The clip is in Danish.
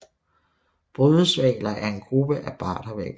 Brydeshvaler er en gruppe af bardehvaler